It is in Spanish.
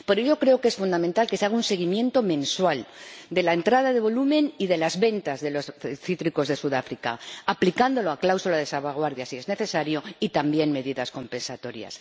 Por ello creo que es fundamental que se haga un seguimiento mensual de la entrada de volumen y de las ventas de los cítricos de Sudáfrica, aplicando la cláusula de salvaguardia si es necesario, y también medidas compensatorias.